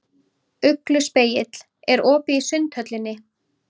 Ugluspegill, er opið í Sundhöllinni?